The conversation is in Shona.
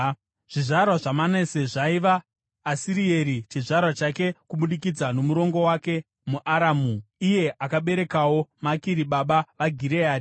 Zvizvarwa zvaManase zvaiva: Asirieri chizvarwa chake kubudikidza nomurongo wake muAramu. Iye akaberekawo Makiri baba vaGireadhi.